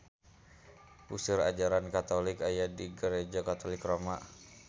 Puseur ajaran katolik aya di Gareja Katolik Roma